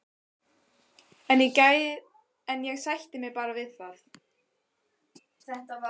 En ég sætti mig bara við það.